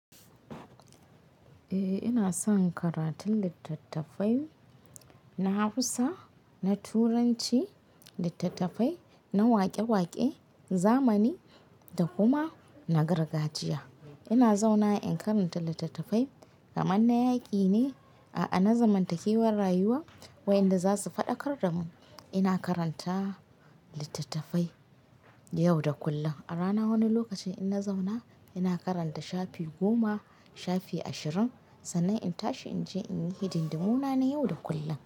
Eh ina son karatun littattafai na Hausa, na Turanci, littattafai na waƙe-waƙe, zamani da kuma na gargajiya. Ina zauna in karanta littattafai kamar na yaƙi ne, a'a na zamantakewar rayuwa waƴanda za su faɗakar da mu. Ina karanta littattafai yau da kullum. A rana wani lokacin in na zauna ina karanta shafi goma, shafi ashirin sannan in tashi in je in yi hidimdimu na na yau da kullum.